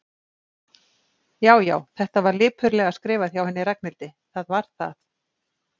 Já, já, þetta var lipurlega skrifað hjá henni Ragnhildi, það var það.